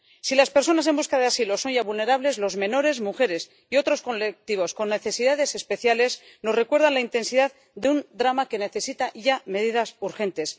Si las personas en busca de asilo son ya vulnerables, los menores, las mujeres y otros colectivos con necesidades especiales nos recuerdan la intensidad de un drama que necesita ya medidas urgentes.